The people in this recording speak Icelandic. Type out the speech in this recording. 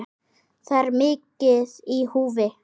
Það er mikið í húfi.